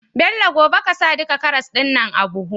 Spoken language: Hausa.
Bello gobe ƙasa duka karas din nan a buhu